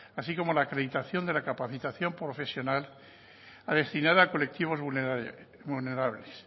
así como la acreditación de la capacitación profesional destinada a colectivos vulnerables